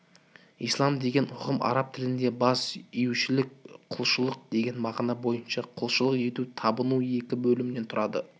ислам деген ұғым араб тілінде бас июшілік құлшылық деген мағына бойынша құлшылық ету табыну екі бөлімнен түрады